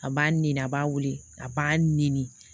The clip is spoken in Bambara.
A b'a ni a b'a weele a b'a nɛni